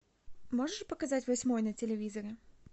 можешь показать восьмой на телевизоре